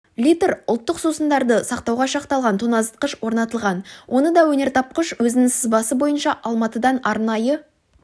литр ұлттық сусындарды сақтауға шақталған тоңазытқыш орнатылған оны да өнертапқыш өзінің сызбасы бойынша алматыдан арнайы